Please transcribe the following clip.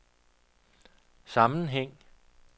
sammenhæng